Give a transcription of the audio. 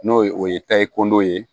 N'o ye o ye kɔndɔ ye